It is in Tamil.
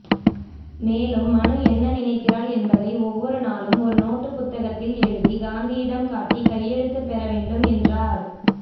மேலும் மனு என்ன நினைக்கிறாள் என்பதை ஒவ்வொரு நாளும் ஒரு நோட்டுபுத்தகத்தில் எழுதி காந்தியிடம் காட்டி கையெழுத்து பெறவேண்டும் என்றார்